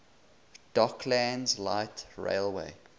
docklands light railway